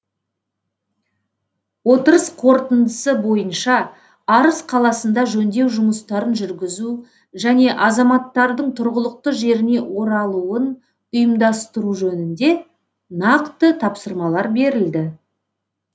отырыс қорытындысы бойынша арыс қаласында жөндеу жұмыстарын жүргізу және азаматтардың тұрғылықты жеріне оралуын ұйымдастыру жөнінде нақты тапсырмалар берілді